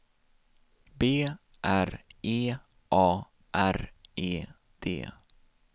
B R E A R E D